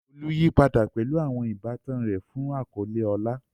Olu yí padà pẹ̀lú àwọn ìbátan rẹ̀ fún àkọ́lé ọlá.